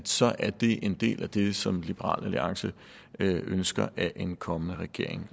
så er det en del af det som liberal alliance ønsker at en kommende regering